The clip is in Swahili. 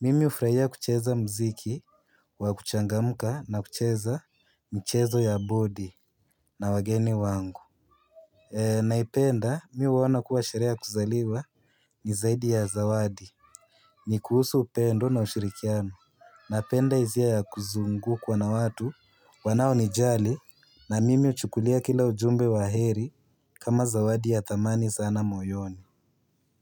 mimi ufraia kucheza mziki wa kuchangamka na kucheza mchezo ya bodi na wageni wangu. Naipenda, mi huona kuwa sherehe ya kuzaliwa nizaidi ya zawadi. Ni kuhusu upendo na ushirikiano. Napenda izia ya kuzungukwa na watu wanao nijali na mimi uchukulia kila ujumbe wa heri kama zawadi ya thamani sana moyoni.